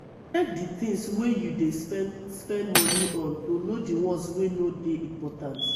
check di things wey you dey spend spend money on to know di ones wey no dey important